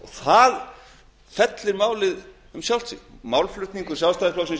þá fellur málið um sjálft sig málflutningur sjálfstæðisflokksins